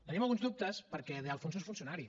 tenim alguns dubtes perquè de alfonso és funcionari